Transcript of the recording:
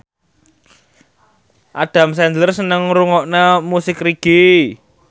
Adam Sandler seneng ngrungokne musik reggae